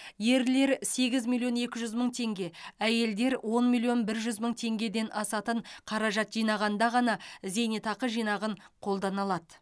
ерлер сегіз миллион екі жүз мың теңге әйелдер он миллион бір жүз мың теңгеден асатын қаражат жинағанда ғана зейнетақы жинағын қолдана алады